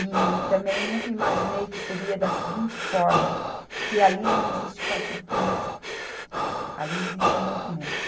E também nunca imaginei que seria da seguinte forma, que ali não existe partido político, ali existe um movimento.